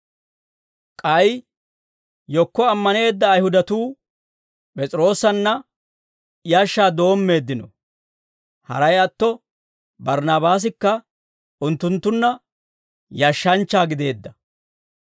K'ay yekko ammaneedda Ayihudatuu P'es'iroosanna yashshaa doommeeddino; haray atto Barnnaabaasikka unttunttunna yashshanchcha gideedda.